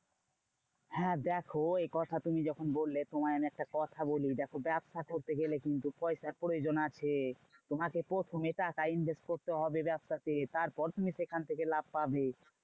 হ্যাঁ দেখো এই কথা তুমি যখন বললে তোমায় আমি একটা কথা বলি। দেখো ব্যবসা করতে গেলে কিন্তু পয়সার প্রয়োজন আছে। তোমাকে প্রথমে টাকা invest করতে হবে ব্যাবসাতে। তারপর তুমি সেখান থেকে থেকে লাভ পাবে।